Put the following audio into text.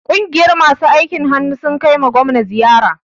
Ƙungiyar masu aikin hannu sun kaima gwamna ziyara.